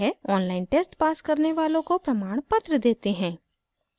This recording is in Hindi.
online test pass करने वालों को प्रमाणपत्र देते हैं